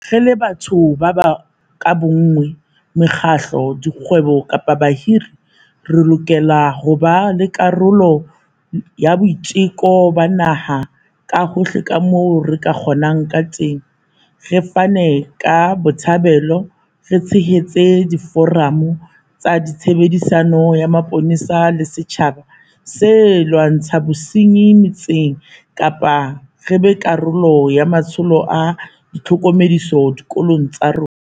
Re le batho ka bonngwe, mekgatlo, dikgwebo kapa bahiri, re lokela ho ba karolo ya boiteko ba naha ka hohle kamoo re ka kgonang kateng, re fane ka botshabelo, re tshehetse diforamo tsa tshebedisano ya mapolesa le setjhaba ho lwantsha bosenyi metseng kapa re be karolo ya matsholo a tlhokomediso dikolong tsa rona.